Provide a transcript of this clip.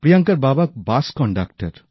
প্রিয়াঙ্কার বাবা bus conductor